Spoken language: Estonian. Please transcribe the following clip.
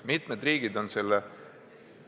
Mitmed riigid on selle ...